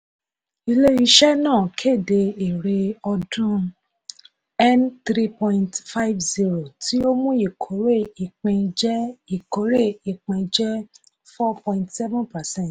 ilé-iṣẹ́ náà kéde èrè ọdún n three point five zero tí ó mú ikore ipin jẹ́ ikore ipin jẹ́ four point seven percent.